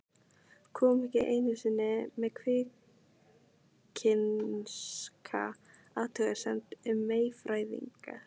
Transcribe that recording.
Kom ekki einu sinni með kvikinska athugasemd um meyfæðingar.